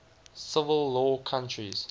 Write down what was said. civil law countries